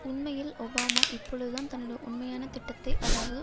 உண்மையில் ஒபாமா இப்பொழுதுதான் தன்னுட உண்மையான திட்டத்தை அதாவது